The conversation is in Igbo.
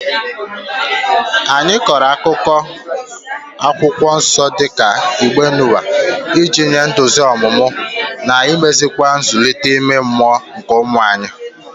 Anyị kọrọ akụkọ Akwụkwọ Nsọ dị ka Igbe Noa iji nye nduzi omume na imeziwanye nzụlite ime mmụọ nke ụmụ anyị.